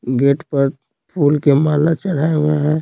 Gate पर फूल के माला चढ़ाए हुए हैं।